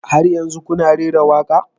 Har yanzu kuna rera waƙa?